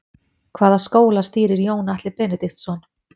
Hvaða skóla stýrir Jón Atli Benediktsson?